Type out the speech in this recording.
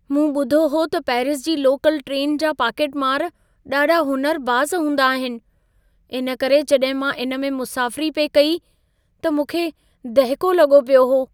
मूं ॿुधो हो त पैरिस जी लोकल ट्रैन जा पाकेटमार ॾाढा हुनुरबाज़ हूंदा आहिनि। इन करे जॾहिं मां इन में मुसाफ़िरी पिए कई, त मूंखे दहिको लॻो पियो हो।